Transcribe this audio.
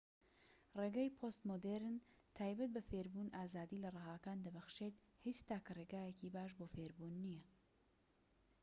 ڕێگای پۆست مۆدیڕن تایبەت بە فێربوون ئازادی لە ڕەهاکان دەبەخشێت هیچ تاکە رێگایەکی باش بۆ فێربوون نیە